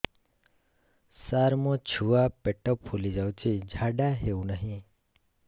ସାର ମୋ ଛୁଆ ପେଟ ଫୁଲି ଯାଉଛି ଝାଡ଼ା ହେଉନାହିଁ